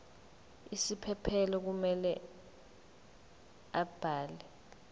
isiphephelo kumele abhale